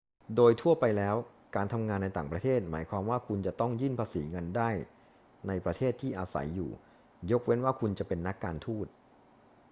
โดยทั่วไปแล้ว การทำงานในต่างประเทศหมายความว่าคุณจะต้องยื่นภาษีเงินได้ในประเทศที่อาศัยอยู่ ยกเว้นว่าคุณจะเป็นนักการทูต